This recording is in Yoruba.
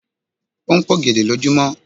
O ń p'ògèdè lojumọ